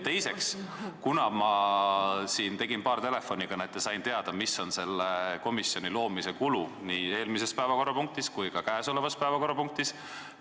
Teiseks, ma tegin paar telefonikõnet ja sain teada, mis on nii eelmise päevakorrapunktiga kui ka käesoleva päevakorrapunktiga loodava komisjoni kulu.